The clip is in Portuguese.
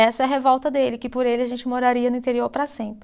Essa é a revolta dele, que por ele a gente moraria no interior para sempre.